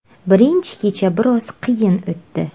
Birinchi kecha biroz qiyin o‘tdi.